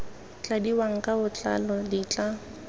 tladiwang ka botlalo di tla